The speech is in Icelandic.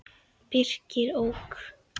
Birkir ók.